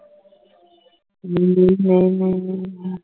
ਨਹੀਂ ਨਹੀਂ ਨਹੀਂ ਨਹੀਂ ਨਹੀਂ ਨਹੀਂ